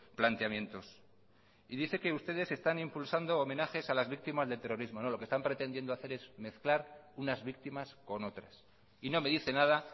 planteamientos y dice que ustedes están impulsando homenajes a las víctimas del terrorismo no lo que están pretendiendo hacer es mezclar unas víctimas con otras y no me dice nada